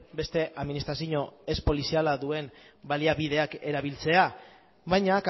beste administrazio ez poliziala duen baliabideak erabiltzeak baina